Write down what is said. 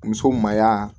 Muso mayigaa